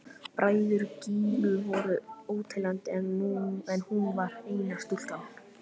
Bræður Gínu voru óteljandi en hún var eina stúlkan.